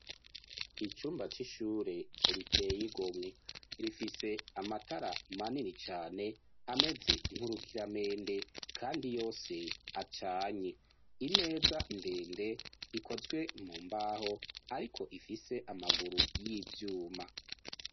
Icumba c'ishure riteye igomwe. Rifise amatara manini cane ameze nk'urukiramende kandi yose acanye, imeza ndende ikozwe mu mbaho ariko ifise amaguru y'ivyuma.